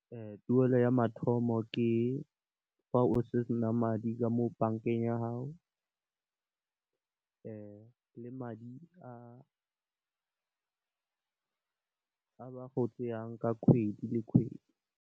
Tuelo ya mathomo ke fa o sena madi ka mo bankeng ya gago, le madi a ba go a tseyang kgwedi le kgwedi.